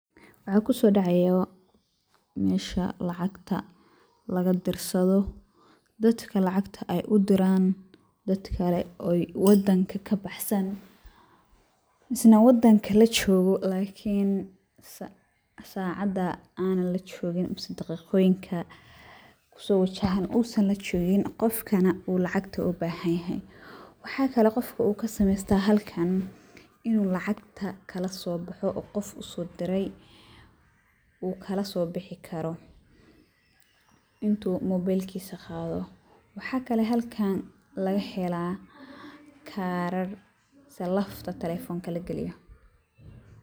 Waxuu ku soo dhacaya meesha lacagta laga dirsado, dadka lacagta ay u diraan dadkale wadanka ka baxsan isla wadankana jooga lakini sa saacada aanan la joogin mise daqiiqooyinka ku soo wajahan uusan la joogin qofkana uu lacagta u bahan yahay. Waxaa kale qofka uu ka samaystaa halkan inuu lacagta kala soo baxo oo qof u soo diray uu kala soo bixi karo intuu mobeelkiisa qaado. Waxaa kale halkan laga helaa kaaran mise lafta telefoonka lagaliyo.